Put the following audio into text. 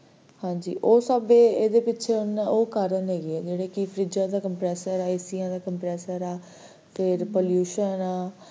ਹਾਂਜੀ, ਉਹ ਸਾਡੇ ਇਹਦੇ ਵਿਚ ਉਹ ਕਾਰਣ ਹੈਗੇ ਆ ਜਿਵੇ ਫਰਿਜਾਂ ਦਾ compressor ਹੈ, ਐਸੀਆਂ ਦਾ compressor ਹੈ ਫੇਰ pollution